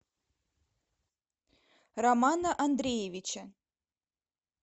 романа андреевича